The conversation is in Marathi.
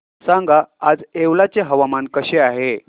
सांगा आज येवला चे हवामान कसे आहे